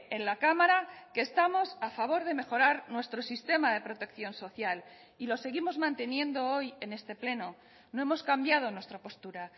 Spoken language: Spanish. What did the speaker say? en la cámara que estamos a favor de mejorar nuestro sistema de protección social y lo seguimos manteniendo hoy en este pleno no hemos cambiado nuestra postura